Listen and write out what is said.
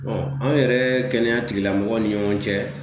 anw yɛrɛ kɛnɛya tigilamɔgɔw ni ɲɔgɔn cɛ ,